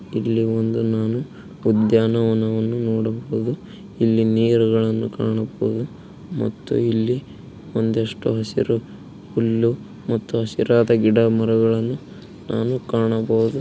ಇಲ್ಲಿ ಒಂದು ನಾನು ಉದ್ಯಾನವನವನ್ನು ನೋಡಬಹುದು. ಇಲ್ಲಿ ನೀರುಗಳನ್ನುಕಾಣಬಹುದು ಮತ್ತು ಇಲ್ಲಿ ಒಂದಿಷ್ಟು ಹಸಿರು ಹುಲ್ಲು ಮತ್ತು ಹಸಿರಾದ ಗಿಡಮರಗಳು ನಾನು ಕಾಣಬಹುದು.